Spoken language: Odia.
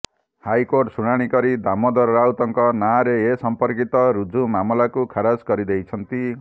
ହାଇକୋର୍ଟ ଶୁଣାଣି କରି ଦାମୋଦର ରାଉତଙ୍କ ନାଁରେ ଏସଂପର୍କିତ ରୁଜୁ ମାମଲାକୁ ଖାରଜ କରିଦେଇଛନ୍ତି